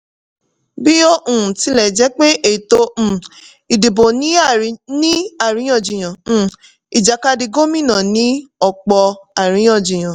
bí ó um tilẹ̀ jẹ́ pé ètò um ìdìbò ní àríyànjiyàn um ìjàkadì gómìnà ní ọ̀pọ̀ àríyànjiyàn.